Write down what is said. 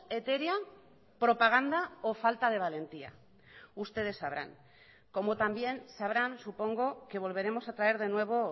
etérea propaganda o falta de valentía ustedes sabrán como también sabrán supongo que volveremos a traer de nuevo